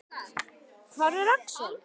Hver er Axel?